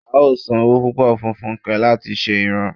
a ó san owó púpọ̀ fun fúnke láti ṣe ìran